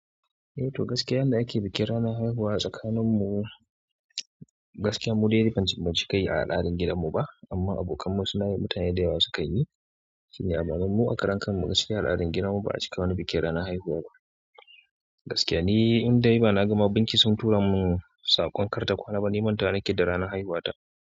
Ehto gaskiya yanda ake bikin ranar haihuwa a tsakaninmu, gaskiya mu dai ban ji ban cika yi a al'adan gidanmu ba amma abokanmu suna yi mutane da yawa sukan yi. Shi ne amma ma mu a karen kanmu gaskiya al'adan gidanmu ba a cika wani bikin ranan haihuwa ba. Gaskiya ni in dai ba na gama banki sun tura mun saƙon karta kwana ba ni manta nake da ranar haihuwata.